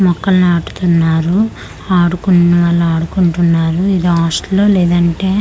మొక్కలు నాటుతున్నారు ఆడుకునే వాళ్ళు ఆడుకుంటున్నారు ఇది హాస్టలో లేదంటే--